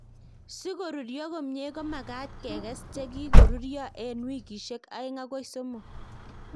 Si korurio komie ko magat kekes che kikorurio eng wikishek aeng agoi somok